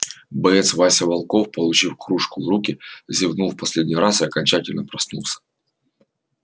боец вася волков получив кружку в руки зевнул в последний раз и окончательно проснулся